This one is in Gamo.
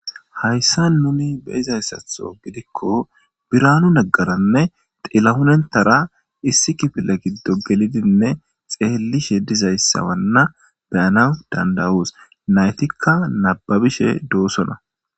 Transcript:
Hayssa nuni beizayssatho gidikko biraanu naggaranne xillahunentara issi kifile giddo gelidinne xeellishe dizayssawanna beyana dandawus naytikka nababishe doossona.